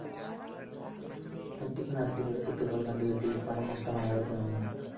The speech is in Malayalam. തട്ടിപ്പു നടത്തിയവരുടെ സ്വത്തുക്കള്‍ കണ്ടുകെട്ടി പണം നഷ്ടമായവര്‍ക്ക് നല്‍കണം